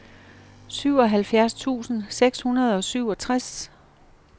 syvoghalvfjerds tusind seks hundrede og syvogtres